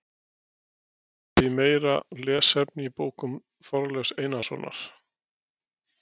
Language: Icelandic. Þar er einnig vísað í meira lesefni í bókum Þorleifs Einarssonar.